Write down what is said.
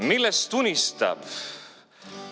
Millest unistab?